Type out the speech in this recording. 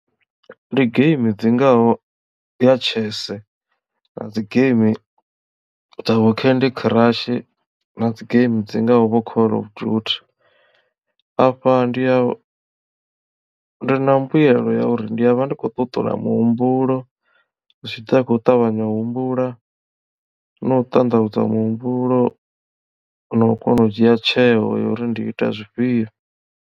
Ndi geimi dzingaho ya chess na dzi geimi dza vho candy crush na dzi geimi dzingaho vho call of duty afha ndiya ndi na mbuyelo ya uri ndi a vha ndi khou ṱuṱula muhumbulo zwi tshi ḓa khou ṱavhanya u humbula na u ṱanḓavhudza muhumbulo na u kona u dzhia tsheo ya uri ndi ita zwifhio..